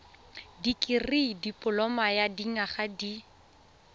dikirii dipoloma ya dinyaga di